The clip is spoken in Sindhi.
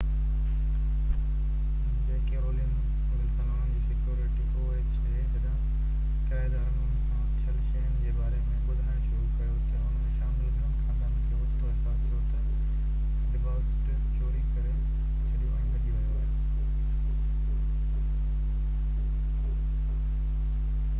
جڏهن ڪرائيدارن ان سان ٿيل شين جي باري ۾ ٻڌائڻ شروع ڪيو تہ ان ۾ شامل گهڻين خاندانن کي اوچتو احساس ٿيو تہ oha جي ڪيرولن ولسن انهن جي سيڪيورٽي ڊبازٽ چوري ڪري ڇڏيو ۽ ڀڄي ويو